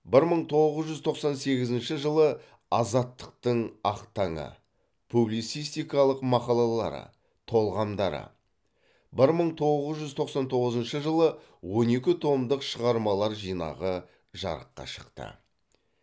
бір мың тоғыз жүз тоқсан сегізінші жылы азаттықтың ақ таңы публицистикалық мақалалары толғамдары бір мың тоғыз жүз тоқсан тоғызыншы жылы он екі томдық шығармалар жинағы жарыққа шықты